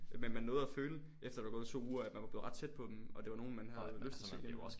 Men man nåede føle efter der var gået 2 uger at man var blevet ret tæt på dem og det var nogen man havde lyst til at se igen